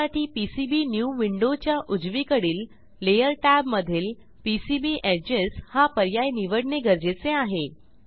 त्यासाठी पीसीबीन्यू विंडोच्या उजवीकडील लेयर tab मधील पीसीबी एजेस हा पर्याय निवडणे गरजेचे आहे